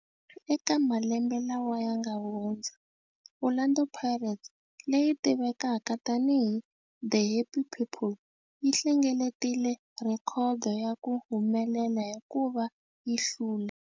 Eka malembe lawa yanga hundza, Orlando Pirates, leyi tivekaka tani hi 'The Happy People', yi hlengeletile rhekhodo ya ku humelela hikuva yi hlule.